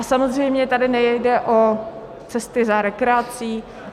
A samozřejmě tady nejde o cesty za rekreací.